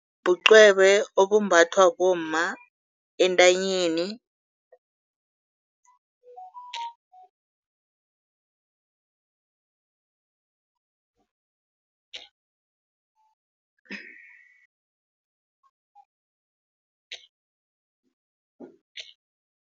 Bucwebe obumbathwa bomma entanyeni